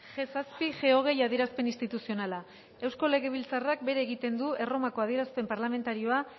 ge zazpi ge hogei adierazpen instituzionala eusko legebiltzarrak bere egiten du erromako adierazpen parlamentarioa